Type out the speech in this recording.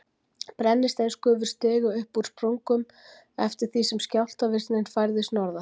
Brennisteinsgufur stigu upp úr sprungum eftir því sem skjálftavirknin færðist norðar.